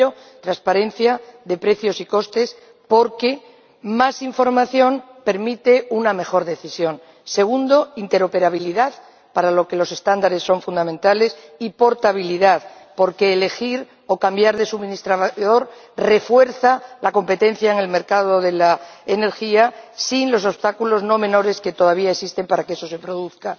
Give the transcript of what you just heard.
En primer lugar, la transparencia de precios y costes, porque más información permite una mejor decisión. En segundo lugar, la interoperabilidad, para lo que los estándares son fundamentales, y la portabilidad, porque elegir o cambiar de suministrador refuerza la competencia en el mercado de la energía, sin los obstáculos no menores que todavía existen para que eso se produzca.